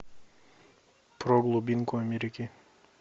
про глубинку америки